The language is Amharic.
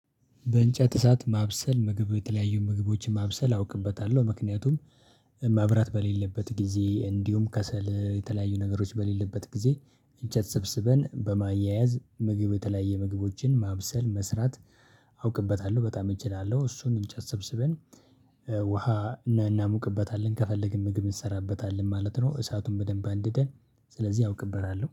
በእንጨት እሳት ማብሰል ምግብ የተለያዩ ምግቦችን ማብሰል አውቅበታለሁ ምክንያቱም። መብራት በሌለበት ጊዜ እንዲሁም ከሰል የተለያዩ ነገሮች በሌለበት ጊዜ እንጨት ሰብስበን በማያያዝ ምግብ የተለያየ ምግቦችን ማብሰል መስራት። አውቅበታለሁ በጣም እችላለሁ እሱን እንጨት ሰብስበን ውሃ እናሞቅበታለን ከፈለግን ምግብ እንሰራበታለን ማለት ነው። እሳቱን በደንብ አንድደን ስለዚህ አውቅበታለሁ